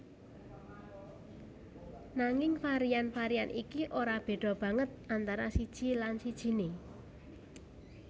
Nanging varian varian iki ora béda banget antara siji lan sijiné